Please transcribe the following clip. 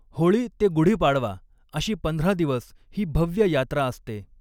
होळी ते गुढीपाडवा अशी पंधरा दिवस ही भव्य यात्रा असते.